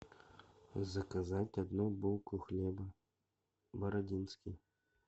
заказать одну булку хлеба бородинский